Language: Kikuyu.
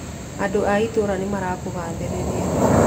Andũ a itũũra nĩ marakũgathĩrĩria